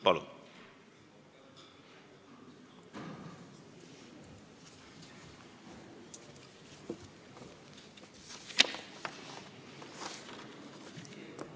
Palun!